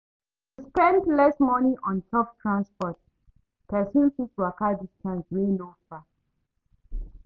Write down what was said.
To spend less money on top transport, person fit waka distance wey no far